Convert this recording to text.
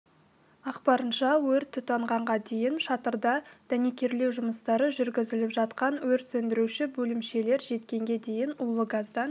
ақпарынша өрт тұтанғанға дейін шатырда дәнекерлеу жұмыстары жүргізіліп жатқан өрт сөндіруші бөлімшелер жеткенге дейін улы газдан